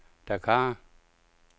Dakar